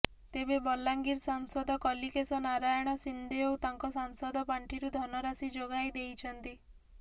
ତେବେ ବଲାଙ୍ଗୀର ସାଂସଦ କଲିକେଶ ନାରାୟଣ ସିଂଦେଓ ତାଙ୍କ ସାଂସଦ ପାଣ୍ଠିରୁ ଧନରାଶି ଯୋଗାଇ ଦେଇଛନ୍ତି